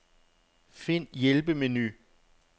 Find hjælpemenu.